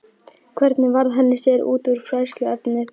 Hvernig varð hann sér úti um fræðsluefnið?